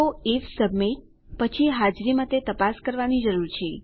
તો IF submit પછી હાજરી માટે તપાસ કરવાની જરૂર છે